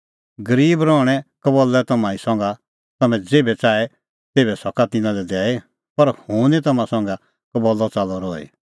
गरीब रहणैं कबल्लै तम्हां ई संघै तम्हैं ज़ेभै च़ाहे तेभै सका तिन्नां लै दैई पर हुंह निं तम्हां संघै कबल्लअ च़ाल्लअ रहई